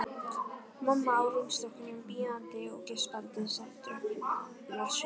Mamma á rúmstokknum bíandi og geispandi svefndrukknar sögur.